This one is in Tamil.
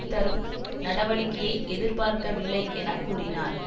தரும் நடவடிக்கையை எதிர்பார்க்கவில்லை என கூறினார்